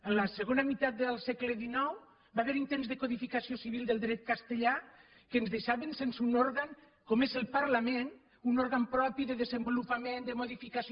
en la segona meitat del segle xix va haver hi intents de codificació civil del dret castellà que ens deixaven sense un òrgan com és el parlament un òrgan propi de desenvolupament de modificació